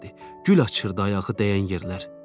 Gül açırdı ayağı dəyən yerlər.